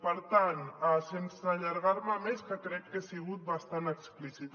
per tant sense allargar me més que crec que he sigut bastant explícita